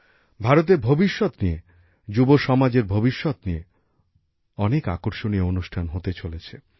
ভারতের ভবিষ্যৎ নিয়ে যুব সমাজের ভবিষ্যৎ নিয়ে অনেক আকর্ষণীয় অনুষ্ঠান হতে চলেছে